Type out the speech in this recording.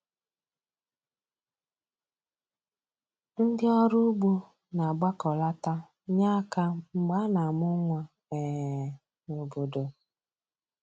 Ndị ọrụ ugbo na-agbakọlata nye aka mgbe a na-amụ nwa um n'obodo